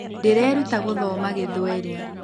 Ndĩreruta guthoma gĩthweri.